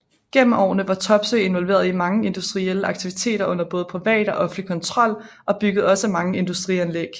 Gennem årene var Topsøe involveret i mange industrielle aktiviteter under både privat og offentlig kontrol og byggede også mange industrianlæg